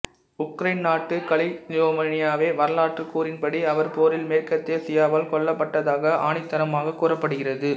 Ukraine நாட்டு கலிசியவோலினிய வரலாற்றுக்கூறின்படி அவர் போரில் மேற்கத்திய சியாவால் கொல்லப்பட்டதாகக் ஆணித்தரமாகக் கூறப்படுகிறது